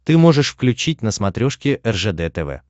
ты можешь включить на смотрешке ржд тв